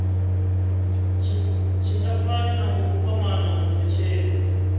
tshingafhani na u kwama munetshedzi